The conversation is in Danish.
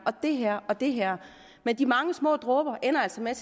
det her og det her men de mange små dråber ender altså med